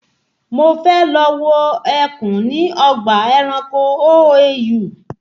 Mo fẹ́ lọ wo ẹkùn ní ọgbà ẹranko OAU